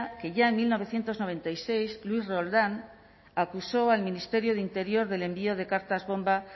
que ya en mil novecientos noventa y seis luis roldán acusó al ministerio de interior del envío de cartas bomba